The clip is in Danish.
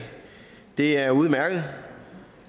det er udmærket og